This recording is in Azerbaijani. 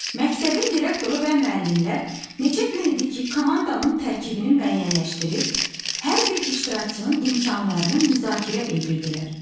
Məktəbin direktoru və müəllimlər neçə gün idi ki, komandanın tərkibini müəyyənləşdirir, hər bir iştirakçının imkanlarını müzakirə edirdilər.